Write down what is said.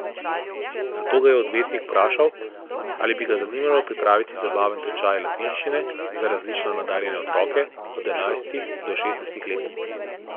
Nato ga je odvetnik vprašal, ali bi ga zanimalo pripraviti zabaven tečaj latinščine za različno nadarjene otroke od enajstih do šestnajstih let.